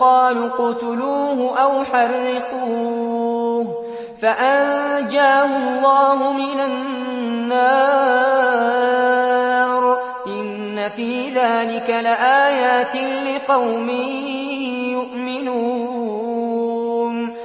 قَالُوا اقْتُلُوهُ أَوْ حَرِّقُوهُ فَأَنجَاهُ اللَّهُ مِنَ النَّارِ ۚ إِنَّ فِي ذَٰلِكَ لَآيَاتٍ لِّقَوْمٍ يُؤْمِنُونَ